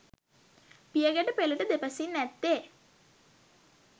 පියගැටපෙළට දෙපසින් ඇත්තේ